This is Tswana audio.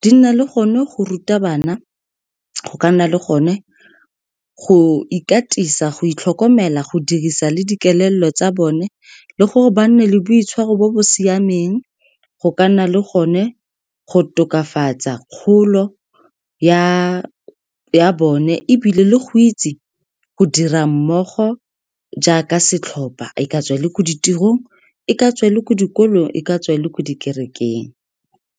di nna le gone go ruta bana go ka nna le gone go ikatisa, go itlhokomela, go dirisa le dikelello tsa bone, le gore ba nne le boitshwaro bo bo siameng, go ka nna le gone go tokafatsa kgolo ya bone, ebile le go itse go dira mmogo jaaka setlhopha, e ka tswa e le ko ditirong, e ka tswa e le ko dikolong, e ka tswa e le ko dikerekeng.